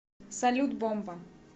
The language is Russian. салют бомба